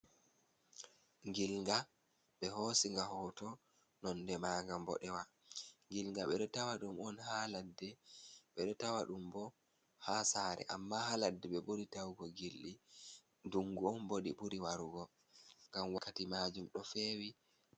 Ngilnga, ɓe hoosi nga hoto. Nonde maa nga mboɗewa. Ngilnga, ɓe ɗo tawa ɗum on ha ladde, ɓe ɗo tawa ɗum bo ha sare, amma ha ladde ɓe ɓuri tawugo gilɗi. Ndungu on bo ɗi ɓuri warugo, ngam wakkati maajum ɗo feewi.